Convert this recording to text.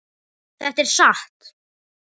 Þetta er satt.